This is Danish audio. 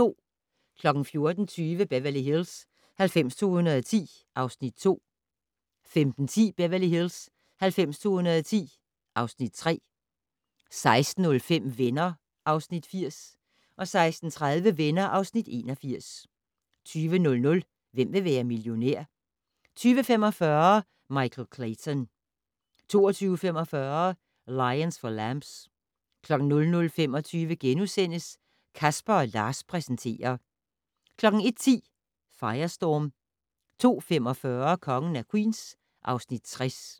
14:20: Beverly Hills 90210 (Afs. 2) 15:10: Beverly Hills 90210 (Afs. 3) 16:05: Venner (Afs. 80) 16:30: Venner (Afs. 81) 20:00: Hvem vil være millionær? 20:45: Michael Clayton 22:45: Lions for Lambs 00:25: Casper & Lars præsenterer * 01:10: Firestorm 02:45: Kongen af Queens (Afs. 60)